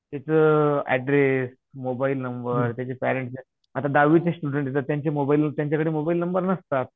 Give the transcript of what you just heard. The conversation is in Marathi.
त्याचं ऍड्रेस मोबाईल नंबर त्याचे पेरेंट्स चे, आता दहावीचे स्टुडन्ट आहे तर त्यांचे मोबाईल व त्यांच्याकडे मोबाईल नंबर नसतात.